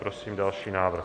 Prosím další návrh.